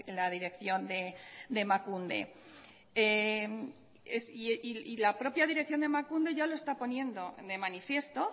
la dirección de emakunde y la propia dirección de emakunde ya lo está poniendo de manifiesto